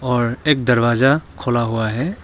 और एक दरवाजा खुला हुआ है।